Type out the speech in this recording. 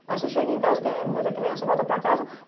Aí você chega em casa e a mãe da criança volta para a casa.